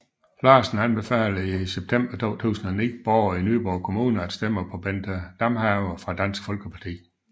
Larsen anbefalede i september 2009 borgere i Nyborg Kommune at stemme på Bente Damhave fra Dansk Folkeparti